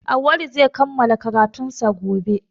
Auwalu zai kammala karatunsa gobe